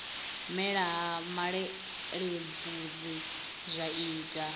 mela ha malelebvudzi zwa ita